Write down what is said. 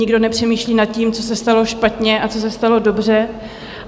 Nikdo nepřemýšlí nad tím, co se stalo špatně a co se stalo dobře.